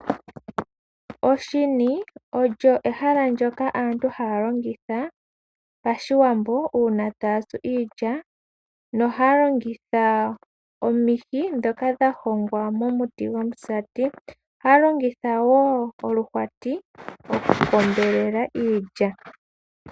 Oshini olyo ehala ndyoka aantu haya longitha pashiwambo uuna taya tsu iilya noha yalongitha omihi ndhoka dha hongwa momuti gomusati. Oha ya longitha wo oluhwati oku kombelela iilya.